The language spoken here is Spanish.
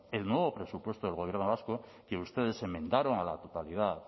el nuevo presupuesto del gobierno vasco que ustedes enmendaron a la totalidad